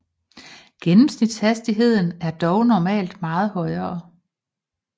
Gennemsnitshastigheden er dog normalt meget højere